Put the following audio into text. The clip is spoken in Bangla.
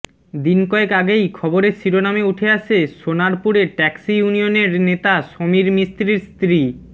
দিন কয়েক আগেই খবরের শিরোনামে উঠে আসে সোনারপুরে ট্যাক্সি ইউনিয়নের নেতা সমীর মিস্ত্রির স্ত্রী